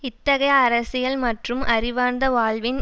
இத்தகைய அரசியல் மற்றும் அறிவார்ந்த வாழ்வின்